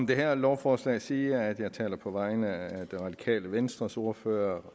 det her lovforslag sige at jeg også taler på vegne af det radikale venstres ordfører